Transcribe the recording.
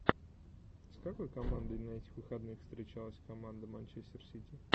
с какой командой на этих выходных встречалась команда манчестер сити